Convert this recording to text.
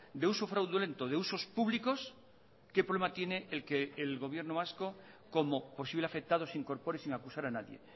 de uso fraudulento de usos públicos qué problema tiene el que el gobierno vasco como posible afectado se incorpore sin acusar a nadie